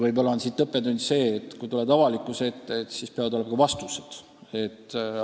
Võib-olla on õppetund see, et kui tuled avalikkuse ette, siis peavad olema ka vastused.